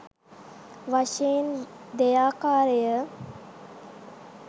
වශයෙන් දෙයාකාරය.